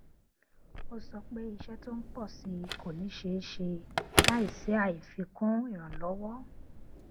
ó sọ pé iṣẹ tó ń pọ sí i kò ní ṣeé ṣe láìsí àfikún ìrànlọwọ